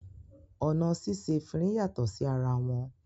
Ọ̀nà síse efinrin yàtọ̀ sí ara wọn